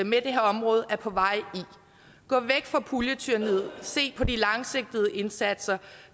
med det her område er på vej i gå væk fra puljetyranniet se på de langsigtede indsatser